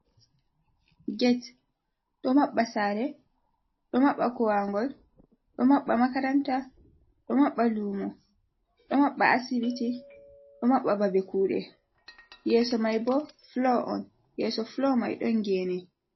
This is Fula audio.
Get do maɓɓa sare do maɓɓa kowa ngol do maɓɓa makaranta do maɓɓa luumo do maɓɓa asibiti do maɓɓa, babe kuuɗe yeeso mai bo folo on yeeso folo mai don geene.